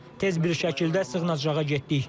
Tez bir şəkildə sığınacağa getdik.